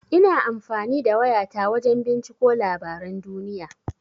Ina amfani da waya ta wajan binciko labaran duniya.